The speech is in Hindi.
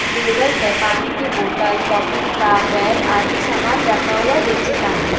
टेबल पे पानी की बॉटल कॉपी किताब बॅग आदि सामान रखा हुआ दिक्चित आहे.